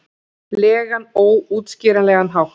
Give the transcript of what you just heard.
legan, óútskýranlegan hátt.